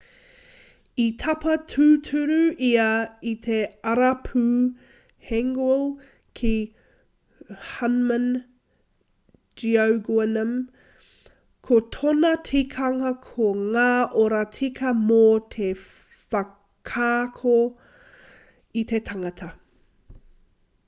i tapa tūturu ia i te arapū hanguel ki hunmin jeongeum ko tōna tikanga ko ngā oro tika mō te whakaako i te tangata